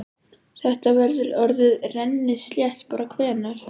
Þetta verður orðið rennislétt bara hvenær?